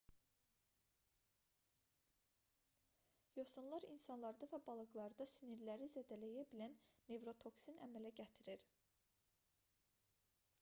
yosunlar insanlarda və balıqlarda sinirləri zədələyə bilən nevrotoksin əmələ gətirir